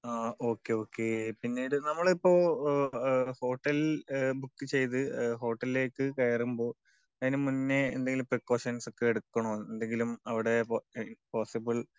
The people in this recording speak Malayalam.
Okay okay. പിന്നീട് നമ്മളിപ്പൊ ഓക്കേ ഹോട്ടൽ ബുക്ക് ചെയ്ത ഹോട്ടലിലേക്ക് കയറുമ്പോ അതിന് മുന്നേ എന്തേലും ഒക്കെ പ്രീക്കോഷൻസ് ഒക്കെ എടുക്കണോ? എന്തെങ്കിലും അവിടെ പോസ്സിബിൾ,